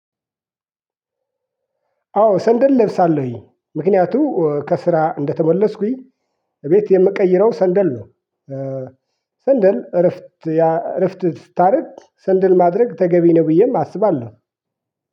አዎ ሰንደል እለብሳለሁኝ። ምክንያቱም ከስራ እንደተመለስኩኝ እቤት የምቀይረው ሰንደል ነው። ሰንደል እረፍት እረፍት ስታደርግ ሰንደል ማድረግ ተገቢ ነው ብዬም አስባለሁ።